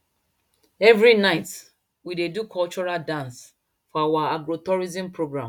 every night we dey do cultural dance for our agrotourism program